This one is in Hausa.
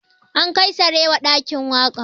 An kai sarewa ɗakin waƙa